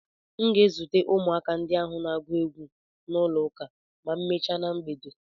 M ga-ezute ụmụaka ndị ahụ na-agụ egwu n'ụlọ ụka ma emechaa na mgbede.